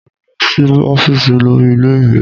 Mo lọ sí ọ́fíìsì olórí ilé ìwé